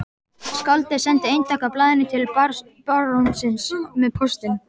Skáldið sendi eintak af blaðinu til barónsins með póstinum.